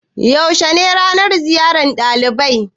Yaushe ne ranan ziyar ɗalibai?